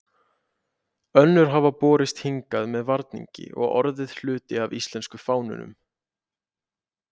Önnur hafa borist hingað með varningi og orðið hluti af íslensku fánunni.